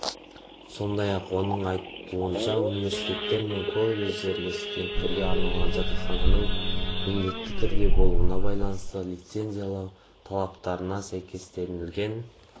сондай-ақ оның айтуынша университеттер мен колледждерге студенттерге арналған жатақхананың міндетті түрде болуына байланысты лицензиялау талаптарына сәйкестігін